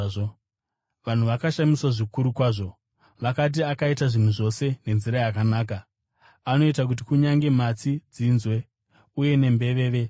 Vanhu vakashamiswa zvikuru kwazvo. Vakati, “Akaita zvinhu zvose nenzira yakanaka. Anoita kuti kunyange matsi dzinzwe uye nembeveve dzitaure.”